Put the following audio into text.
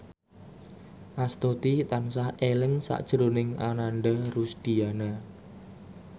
Astuti tansah eling sakjroning Ananda Rusdiana